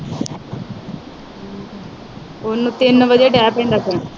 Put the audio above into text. ਉਹ ਤਿੰਨ ਵਾਰੀ ਚਾਹ ਪੀਂਦਾ ਕੋਈ।